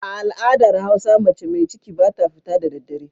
A al'adar hausa mace mai ciki ba ta fita da daddare.